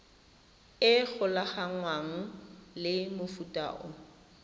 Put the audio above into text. e golaganngwang le mofuta o